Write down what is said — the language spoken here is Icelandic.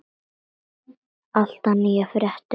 Alltaf nýjar fréttir af okkur.